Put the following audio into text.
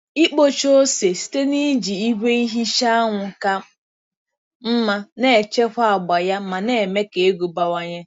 Ikpocha ose site n’iji igwe ihicha anwụ ka mma na-echekwa agba ya ma na-eme ka ego bawanye.